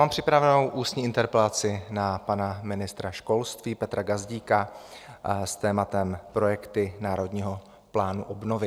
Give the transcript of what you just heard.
Mám připravenou ústní interpelaci na pana ministra školství Petra Gazdíka s tématem projekty Národního plánu obnovy.